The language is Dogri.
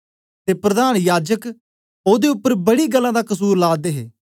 ते प्रधान याजकें ओदे उपर बड़ी गल्लें दा कसुर ला दे हे